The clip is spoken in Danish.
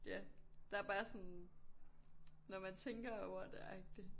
Ja der jo bare sådan når man tænker over det agtig